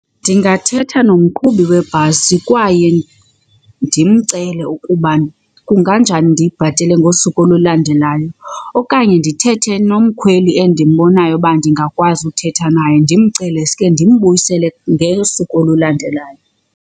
Ndingathetha nomqhubi webhasi kwaye ndimcele ukuba kunganjani ndiyibhatele ngosuku olulandelayo. Okanye ndithethe nomkhweli endimbonayo uba ndingakwazi uthetha naye ndimcele suke ndimbuyisele ngosuku olulandelayo.